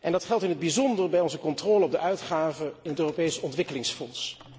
Dat geldt in het bijzonder bij onze controle op de uitgaven in het Europees Ontwikkelingsfonds.